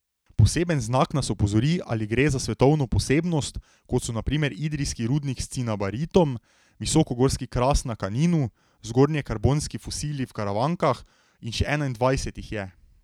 Poseben znak nas opozori, ali gre za svetovno posebnost, kot so na primer idrijski rudnik s cinabaritom, visokogorski kras na Kaninu, zgornjekarbonski fosili v Karavankah in še enaindvajset jih je.